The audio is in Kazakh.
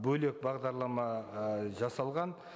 бөлек бағдарлама ы жасалған